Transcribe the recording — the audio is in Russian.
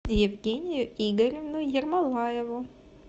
евгению игоревну ермолаеву